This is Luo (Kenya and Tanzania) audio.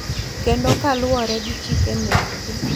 Kendo kaluwore gi chike mekgi,